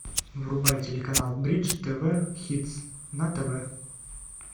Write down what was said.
врубай телеканал бридж тв хитс на тв